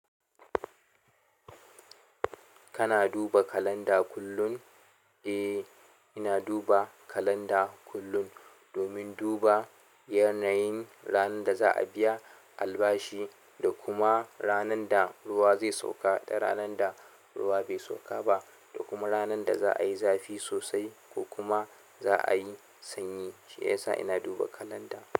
Kana duba kalanda kullun? Eh, ina duba kalanda kullun, domin duba yanayin ranar da za a biya albashi, da kuma ranar da ruwa zai sauka da ranar da ruwa bai sauka ba, da kuma ranar da za a yi zafi sosai ko kuma za a yi sanyi. Shiyasa ina duba kalanda.